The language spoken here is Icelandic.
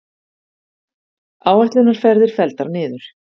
Áætlunarferðir felldar niður